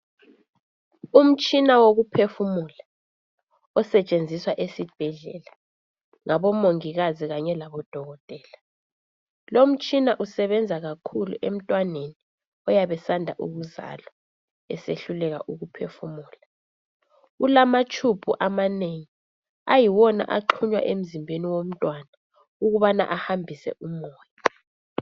Umtshina wokuphefumula osetshenziswa esibhedlela ngabomongikazi kanye labodokotela lomtshina usebenza kakhulu emntwaneni oyabe esanda ukuzalwa esehluleka ukuphefumula kulamatshubhu amanengi ayiwona axhunywa emzimbeni womntwana ukubana ahambise umoya.